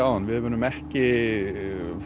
áðan við munum ekki